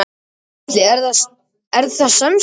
Gísli: Er það semsagt.